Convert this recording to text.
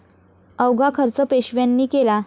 अवघा खर्च पेशव्यांनी केला